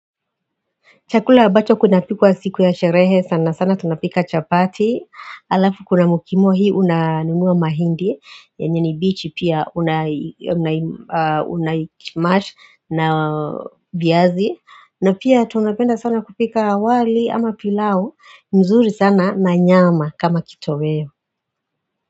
Chakula ambacho kuna pikwa siku ya sherehe sana sana tunapika chapati alafu kuna mokimo hii unanunua mahindi yenye ni mbichi pia unaismash na viazi na pia tunapenda sana kupika wali ama pilau mzuri sana na nyama kama kitoweo.